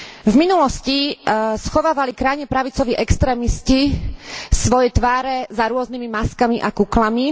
V minulosti schovávali krajne pravicoví extrémisti svoje tváre za rôznymi maskami a kuklami.